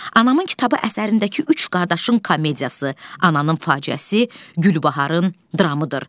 Anamın kitabı əsərindəki üç qardaşın komediyası, ananın faciəsi, Gülbaharın dramıdır.